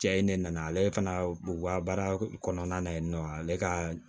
Cɛ ye ne nana ale fana u ka baara kɔnɔna na yen nɔ ale ka